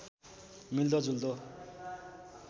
मिल्दो जुल्दो